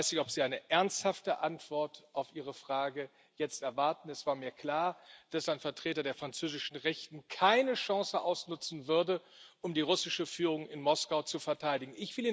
Ich weiß nicht, ob Sie jetzt eine ernsthafte Antwort auf Ihre Frage erwarten. Es war mir klar, dass ein Vertreter der französischen Rechten keine Chance auslassen würde, um die russische Führung in Moskau zu verteidigen.